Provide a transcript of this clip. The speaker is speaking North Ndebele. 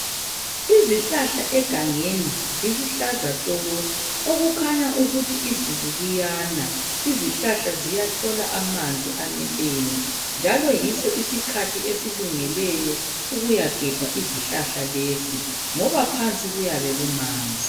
Izihlahla egangeni ziluhlaza tshoko okukhanya ukuthi izulu liyana. Izihlahla ziyathola amanzi aneleyo njalo yiso isikhathi esilungeleyo ukuyagebha izihlahla lezi ngoba phansi kuyabe kumanzi.